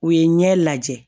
U ye ɲɛ lajɛ